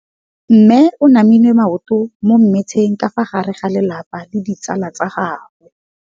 Mme o namile maoto mo mmetseng ka fa gare ga lelapa le ditsala tsa gagwe.